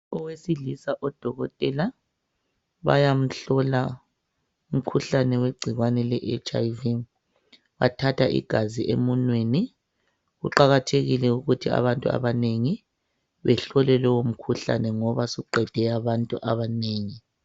Owesilisa odokotela bayamhlola umkhuhlane wegcikwane leHIV bathatha igazi emunweni kuqakathekile ukuthi abantu abanengi bahlolwe lowo mkhuhlane ngoba suqede abantu abanengi.